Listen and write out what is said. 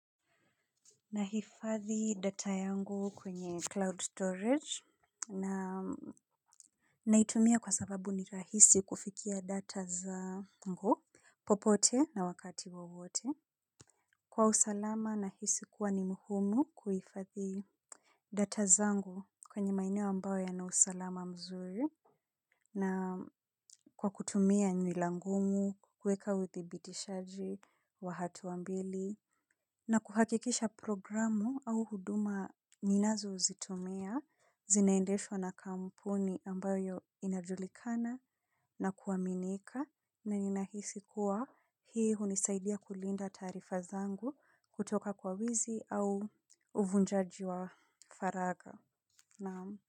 Nahifadhi data yangu kwenye cloud storage na naitumia kwa sababu ni rahisi kufikia data zangu. Popote na wakati wowote. Kwa usalama nahisi kuwa ni muhimu kuhifadhi data zangu kwenye maeneo ambayo yana usalama mzuri. Na kwa kutumia nywila ngumu kuweka uthibitishaji wa hatua mbili na kuhakikisha programu au huduma ninazozitumia zinaendeshwa na kampuni ambayo inajulikana na kuaminika na ninahisi kuwa hii hunisaidia kulinda taarifa zangu kutoka kwa wizi au uvunjaji wa faragha. Naamu.